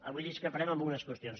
avui discreparem en algunes qüestions